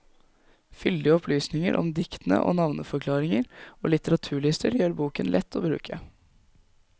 Fyldige opplysninger om diktene og navneforklaringer og litteraturlister gjør boken lett å bruke.